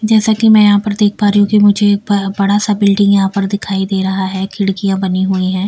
जैसा कि मैं यहां पर देख पा रही हूं कि मुझे एक बड़ा सा बिल्डिंग यहां पर दिखाई दे रहा है खिड़कियां बनी हुई है।